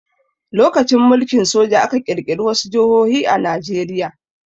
During military rule, some states were created in Nigeria.